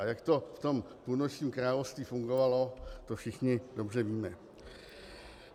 A jak to v tom Půlnočním království fungovalo, to všichni dobře víme.